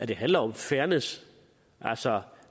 det handler om fairness altså